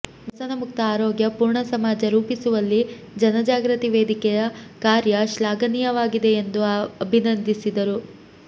ವ್ಯಸನಮುಕ್ತ ಆರೋಗ್ಯ ಪೂರ್ಣ ಸಮಾಜ ರೂಪಿಸುವಲ್ಲಿ ಜನ ಜಾಗೃತಿ ವೇದಿಕೆಯ ಕಾರ್ಯಶ್ಲಾಘನೀಯವಾಗಿದೆ ಎಂದು ಅಭಿನಂದಿಸಿದರು